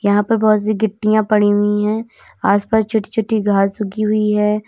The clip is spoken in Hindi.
यहां पर बहुत सी गिट्टियां पड़ी हुई है आसपास छोटी छोटी घास उगी हुई है।